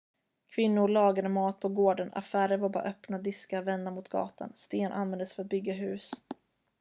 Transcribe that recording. kvinnor lagade mat på gården affärer var bara öppna diskar vända mot gatan sten användes för att bygga hus